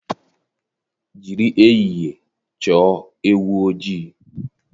Jiri ehihie chọọ ewu ojii.